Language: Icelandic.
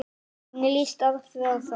Hvernig lýst Alfreð á það?